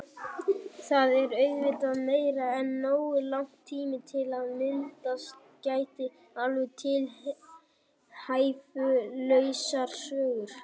Það er auðvitað meira en nógu langur tími til að myndast geti alveg tilhæfulausar sögur.